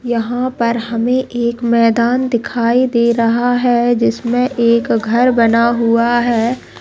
यहाँ पर हमें एक मैदान दिखाई दे रहा है जिसमें एक घर बना हुआ है।